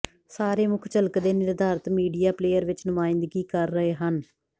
ਸਾਰੇ ਮੁੱਖ ਝਲਕਦੇ ਨਿਰਧਾਰਿਤ ਮੀਡੀਆ ਪਲੇਅਰ ਵਿੱਚ ਨੁਮਾਇੰਦਗੀ ਕਰ ਰਹੇ ਹਨ